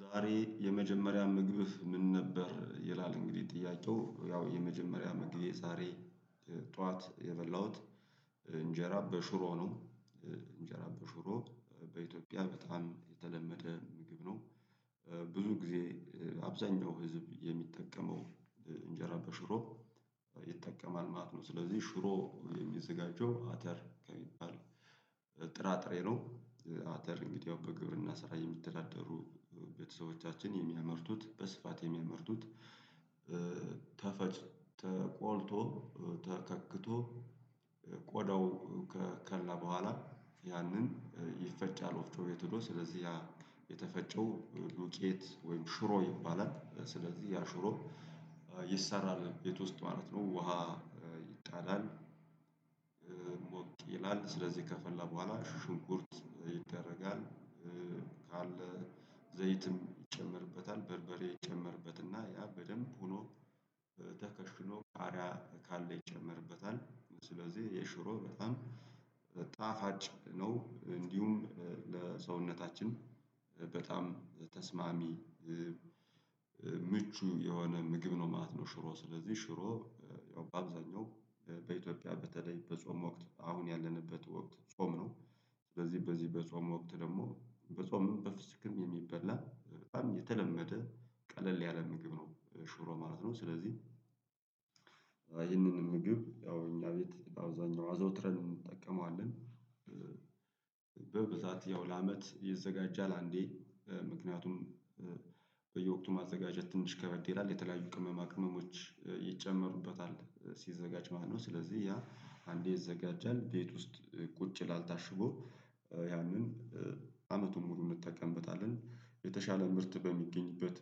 ዛሬ የመጀመሪያ ምግብህ ምን ነበር? ይላል እንግዲህ ጥያቄው ያው የመጀመሪያ ምግቤ ዛሬ ጠዋት የበላሁት እንጀራ በሽሮ ነው እንጀራ በሽሮ በኢትዮጵያ በጣም የተለመደ ምግብ ነው። ብዙ ጊዜ አብዛኛው ህዝብ የሚጠቀመው እንጀራ በሽሮ ይጠቀማል ማለት ነው። ስለዚህ ሽሮ የሚዘጋጀው አተር ከሚባል ጥራጥሬ ነው። አተር እንግዲህ ያው በግብርና ስራ የሚተዳደሩ ቤተሰቦቻችን የሚያመርቱት በስፋት የሚያመርቱት ተፈጭ ተቆልቶ ተከክቶ ቆዳው ከከላ በኋላ ያንን ይፈጫል። ወፍጮ ቤት ሂዶ ስለዚህ የተፈጨው ዱቄት ወይም ሽሮ ይባላል። ስለዚህ ያ ሽሮ ይሰራል ቤት ውስጥ ማለት ነው። ውሃ ይጣላል ሞቅ ይላል ስለዚህ ከፈላ በኋላ ሽንኩርት ይደረጋል ካለ ዘይትም ይጨመርበታል በርበሬ ይጨመርበት እና ያ በደንብ ሆኖ ተከሽኖ ቃሪያ ካለ ይጨመርበታል። ስለዚህ የሽሮ በጣም ጣፋጭ ነው እንዲሁም ለሰውነታችን በጣም ተስማሚ ምቹ የሆነ ምግብ ነው ማለት ነው። ሽሮ ስለዚህ ሽሮ ያው በአብዛኛው በኢትዮጵያ በተለይ በጾም ወቅት አሁን ያለንበት ወቅት ጾም ነው። ስለዚህ በዚህ በጾም ወቅት ደግሞ በጾምም በፍስክም የሚበላ በጣም የተለመደ ቀለል ያለ ምግብ ነው ሽሮ ማለት ነው። ስለዚህ ይህንን ምግብ ያው እኛ ቤት አብዛኛው አዘውትረን እንጠቀመዋለን። በብዛት ያው ለአመት ይዘጋጃል አንዴ ምክንያቱም በየወቅቱ ማዘጋጀት ትንሽ ከበድ ይላል የተለያዩ ቅመማ ቅመሞች ይጨመሩበታል ሲዘጋጅ ማለት ነው። ስለዚህ ያ አንዴ ይዘጋጃል ቤት ውስጥ ቁጭ ይላል ታሽጎ ያንን አመቱን ሙሉ እንጠቀምበታለን። የተሻለ ምርት በሚገኝበት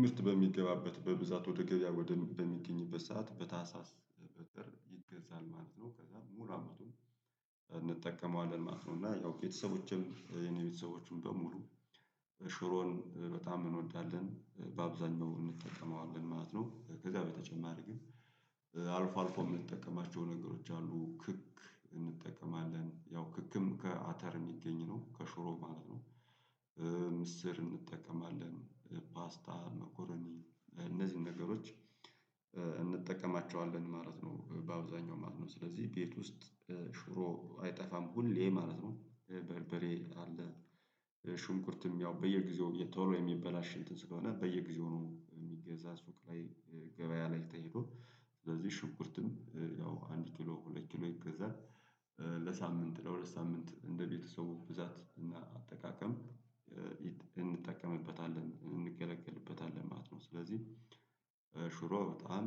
ምርት በሚገባበት በብዛት ወደ ገበያ ወደ በሚገኝበት ሰዓት በታህሳስ በጥር ይገዛል ማለት ነው። ከዛ ሙሉ አመቱን እንጠቀመዋለን ማለት ነው። እና ያው ቤተሰቦቼም የኔ ቤተሰቦችም በሙሉ ሽሮን በጣም እንወዳለን በአብዛኛው እንጠቀመዋለን ማለት ነው። ከዛ በተጨማሪ ግን አልፎ አልፎ የምንጠቀማቸው ነገሮች አሉ። ክክ እንጠቀማለን ያው ክክም ከአተር የሚገኝ ነው ከሽሮ ማለት ነው። ምስር እንጠቀማለን ፓስታ መኮረኒ እነዚህን ነገሮች እንጠቀማቸዋለን ማለት ነው። በአብዛኛው ማለት ነው ስለዚህ ቤት ውስጥ ሽሮ አይጠፋም ሁሌ ማለት ነው። በርበሬ አለ ሽንኩርትም ያው በየጊዜው ቶሎ የሚበላሽ እንትን ስለሆነ በየጊዜው ነው የሚገዛ ሱቅ ላይ ገበያ ላይ ተሂዶ ስለዚህ ሽንኩርትም ያው አንድ ኪሎ ሁለት ኪሎ ይገዛል። ለሳምንት ለሁለት ሳምንት እንደ ቤተሰቡ ብዛት እና አጠቃቀም እንጠቀምበታለን እንገለገልበታለን ማለት ነው። ስለዚህ ሽሮ በጣም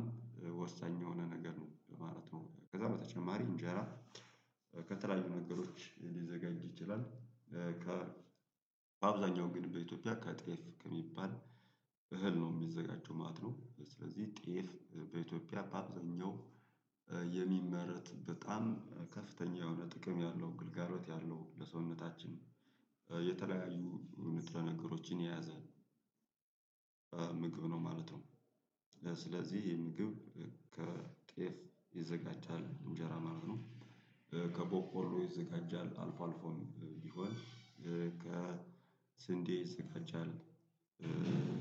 ወሳኝ የሆነ ነገር ነው ማለት ነው። ከዛ በተጨማሪ እንጀራ ከተለያዩ ነገሮች ሊዘጋጅ ይችላል። ከ በአብዛኛው ግን በኢትዮጵያ ከጤፍ ከሚባል እህል ነው የሚዘጋጀው ማለት ነው። ስለዚህ ጤፍ በኢትዮጵያ በአብዛኛው የሚመረት በጣም ከፍተኛ የሆነ ጥቅም ያለው ግልጋሎት ያለው ለሰውነታችን የተለያዩ ንጥረ ነገሮችን የያዘ ምግብ ነው ማለት ነው። ስለዚህ የምግብ ከጤፍ ይዘጋጃል እንጀራ ማለት ነው። ከ በቆሎ ይዘጋጃል አልፎ አልፎም ይሆን ከስንዴ ይዘጋጃል አለን።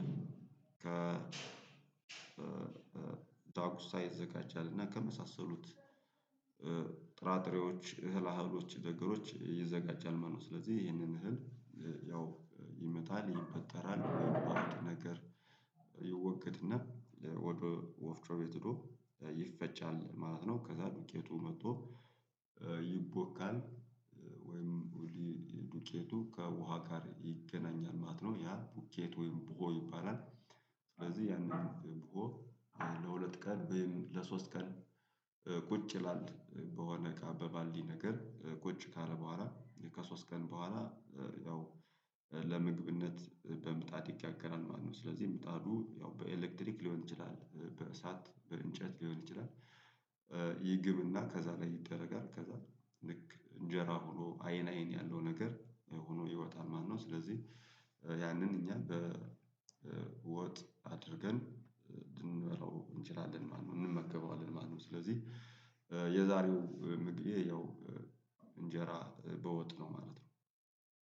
ከ ዳጉሳ ይዘጋጃል እና ከመሳሰሉት ጥራጥሬዎች እህል አህሎች ነግሮች ይዘጋጃል ማለት ነው። ስለዚህ ይሄንን እህል ያው ይመጣል ይፈጠራል የሚባሉትን ነገር ይወገድና ወፍጮ ቤት ሄዶ ይፈጫል ማለት ነው። ከዛ ዱቄቱ መጦ ይቦካል። ወይም ዱቄቱ ከውሃ ጋር ይገናኛል ማለት ነው ያ ዱቄት ወይም ቡሆ ይባላል። ስለዚህ ያን ቡሆ ለሁለት ቀን ወይም ለሶስት ቀን ቁጭ ይላል በሆነ እቃ በባልዲ ነገር ቁጭ ካለ በኋላ ከሶስት ቀን በኋላ። ያው ለምግብነት በምጣድ ይጋገራል ማለት ነው። ስለዚህ ምጣዱ ያው በኤሌክትሪክ ሊሆን ይችላል በእሳት በእንጨት ሊሆን ይችላል። ይግብና ከዛ ላይ ይደረጋል ከዛ ልክእንጀራ ሆኖ አይን አይን ያለው ነገር ሆኖ ይወጣል ማለት ነው። ስለዚህ ያንን እኛ በወጥ አድርገን ልንበላው እንችላለን ማለት ነው። እንመገበዋለን ማለት ነው። ስለዚህ የዛሬው ምግቤ ያው እንጀራ በወጥ ነው ማለት ነው።